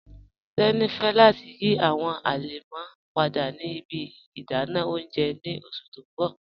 Teni fẹ̀ lati yí awọn alẹmọ́ padà ni ibi ìdànà ọ̀unjẹ ọ̀un ni ọṣù ti n bọ̀